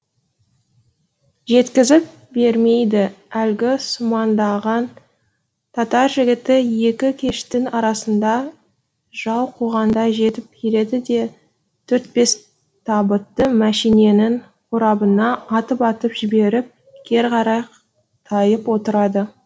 жеткізіп бермейді әлгі сумаңдаған татар жігіті екі кештің арасында жау қуғандай жетіп келеді де төрт бес табытты мәшиненің қорабына атып атып жіберіп кері қарай тайып отырады